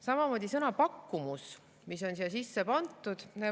Samamoodi sõna "pakkumus", mis on siia sisse pandud.